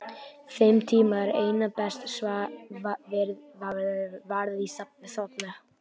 Þeim tíma er einna best varið í svefn.